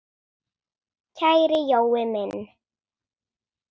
Kæri Jói minn!